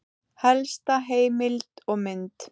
Helsta heimild og mynd